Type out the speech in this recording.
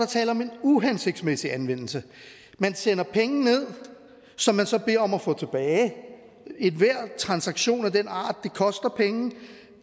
tale om en uhensigtsmæssig anvendelse man sender penge ned som man så beder om at få tilbage enhver transaktion af den art koster penge og